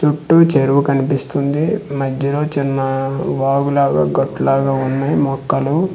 చుట్టూ చెరువు కన్పిస్తుంది మధ్యలో చిన్న ఆఆ వాగులాగా గట్లాగ వున్నాయి మొక్కలు.